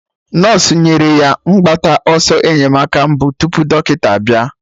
Nọsụ nyere ya mgbata ọsọ enyemaka mbụ tupu dọkịta bịa